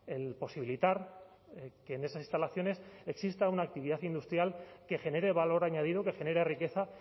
el posibilitar que en esas instalaciones exista una actividad industrial que genere valor añadido que genere riqueza